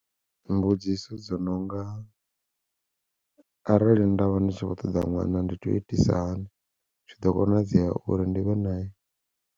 Mbudziso dzo nonga, arali ndavha ndi tshi vho ṱoḓa ṅwana ndi to itisa hani zwi ḓo konadzea uri ndi vhe nae.